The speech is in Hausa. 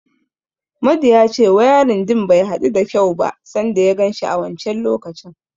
Madu ya ce wayarin din bai hadu da kyau ba sanda ya ganshi a wancen lokacin.